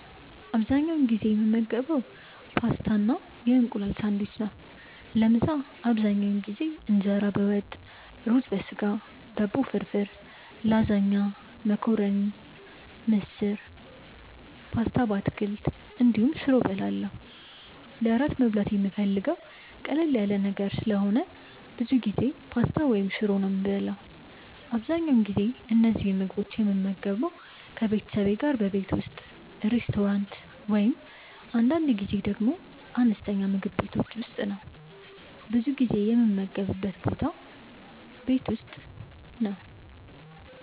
አብዛኛውን ጊዜ የምመገበው ፓስታ እና የእንቁላል ሳንድዊች ነው። ለምሳ አብዛኛውን ጊዜ እንጀራ በወጥ፣ ሩዝ በስጋ፣ ዳቦ ፍርፍር፣ ላዛኛ፣ መኮረኒ፣ ምስር፣ ፓስታ በአትክልት እንዲሁም ሽሮ እበላለሁ። ለእራት መብላት የምፈልገው ቀለል ያለ ነገር ስለሆነ ብዙ ጊዜ ፓስታ ወይም ሽሮ ነው የምበላው። አብዛኛውን ጊዜ እነዚህን ምግቦች የምመገበው ከቤተሰቤ ጋር ቤት ውስጥ፣ ሬስቶራንት እንዲሁም አንዳንድ ጊዜ ደግሞ አነስተኛ ምግብ ቤቶች ውስጥ ነው። ብዙ ጊዜ የምመገብበት ቦታ ቤት ውስጥ ነው።